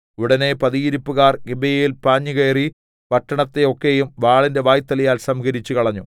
ഉടനെ പതിയിരിപ്പുകാർ ഗിബെയയിൽ പാഞ്ഞുകയറി പട്ടണത്തെയൊക്കെയും വാളിന്റെ വായ്ത്തലയാൽ സംഹരിച്ചുകളഞ്ഞു